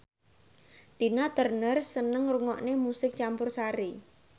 Tina Turner seneng ngrungokne musik campursari